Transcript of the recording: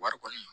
Wari kɔni